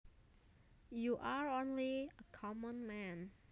You are only a common man